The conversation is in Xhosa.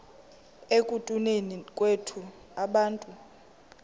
ekutuneni kwethu abantu